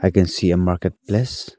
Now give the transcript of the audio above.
I can see a market place.